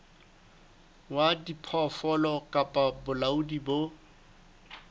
wa diphoofolo kapa bolaodi bo